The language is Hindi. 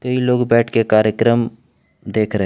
ये लोग बैठ के कार्यक्रम देख रहे--